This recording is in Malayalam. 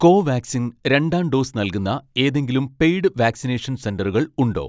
കോവാക്സിൻ രണ്ടാം ഡോസ് നൽകുന്ന ഏതെങ്കിലും പെയ്ഡ് വാക്‌സിനേഷൻ സെന്ററുകൾ ഉണ്ടോ